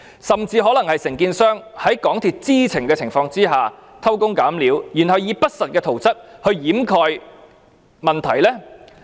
甚至可能是承建商在港鐵公司知情的情況下偷工減料，然後以不實的圖則掩蓋問題。